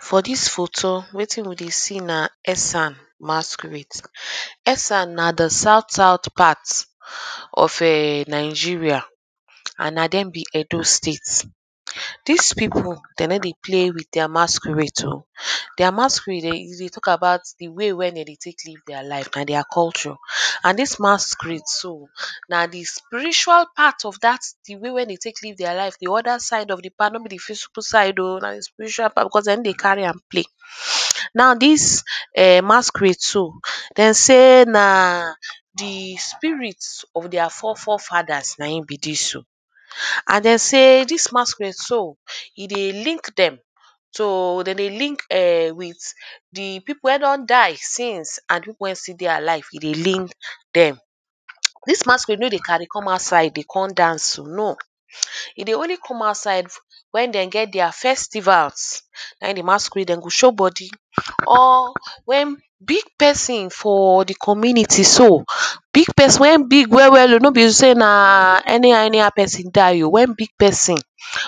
For dis photo wetin we dey see na esan masquerade. Esan na the south south part of erm Nigeria and na dem be Edo state. Dis people de no dey play with masquerade oh. Their masquerade e dey talk about the way wey de dey take live their life. Na their culture. And dis masquerade so na the spiritual part of dat the way when dem dey take live their life. The other side of the part, no be the physical side oh. Na the spiritual part because de no dey carry am play. Now dis um masquerade so, de say na the spirit of their fore fore fathers na im be dis oh. And de say dis masquerade so, e dey link dem So, de dey link ern with the people wey don die since and the people wey stil dey alive. E dey link dem. Dis masquerade no dey carry come outside dey con dance oh No. E dey only come outside when dem get their festivals. Na im the masquerade dem go show body or when big person for the community so urh. Big person wey big well well oh. No be say na anyhow person die oh. When big person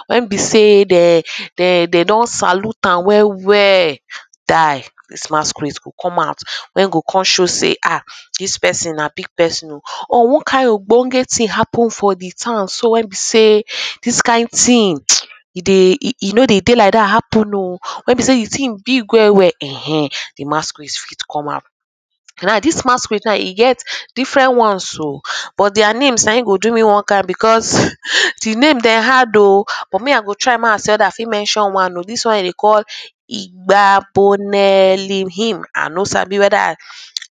when be say dem de de don salute am well well ern die dis masquerade go come out. When go come show sey um dis person na big person oh or one kind ogbonge thing for the town so when be sey dis kind thing um e dey e e no dey dey like dat happen oh. When be sey the thing big well well ern ern. The masquerade fit come out. Now dis masquerade now e get different ones oh erm. But their names na im go do you one kind because the name dem hard oh urh. But me i go try mey i see whether i fit mention one. Dis one wey dem dey call igbaboneliimhin. I no sabi whether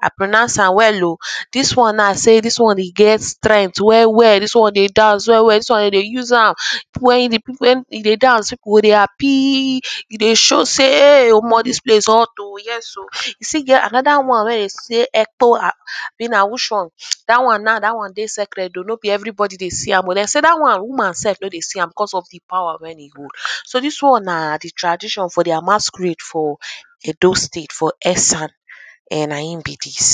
i pronounce am well oh. Dis now na sey dis one e get strength well well. Dis one dey dance well well. Dis one dem dey use am er People when e people wey e dey dance, people go dey happy. E dey show sey omo dis place hot oh, Yes oh. E still get another one when dem dey say [2] abi na which one ern Dat one now, dat one dey sacred oh. No be everybody dey see am. De say dat one, woman self no dey see am because of the power wey e hold. So dis one na the tradition for their masquerade for edo state, for esan. um Na im be dis.